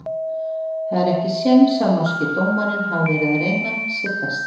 Það er ekki séns að norski dómarinn hafi verið að reyna sitt besta.